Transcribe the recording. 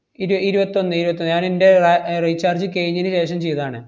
ഇരു~ ഇരുവത്തൊന്ന് ഇരുവത്തൊന്ന്. ഞാനെന്‍റെ റ~ ഏർ recharge കെയിഞ്ഞേനു ശേഷം ചെയ്തതാണ്.